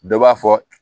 Dɔ b'a fɔ